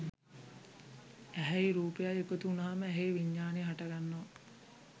ඇහැයි රූපයයි එකතු වුනහම ඇහේ විඤ්ඤාණය හටගන්නවා